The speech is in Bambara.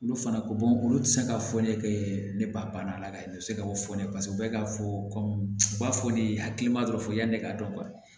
Olu fana ko olu tɛ se ka fɔ ne kɛ ne ba banna la ka se ka o fɔ ne bɛɛ ka fɔ ko u b'a fɔ de hakilina dɔrɔn yanni ne k'a dɔn